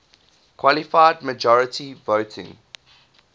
qualified majority voting